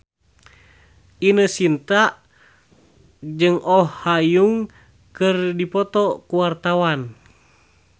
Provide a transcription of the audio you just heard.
Ine Shintya jeung Oh Ha Young keur dipoto ku wartawan